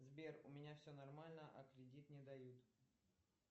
сбер у меня все нормально а кредит не дают